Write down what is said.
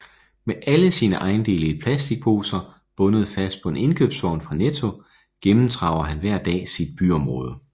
Med alle sine ejendele i plastikposer bundet fast på en indkøbsvogn fra Netto gennemtraver han hver dag sit byområde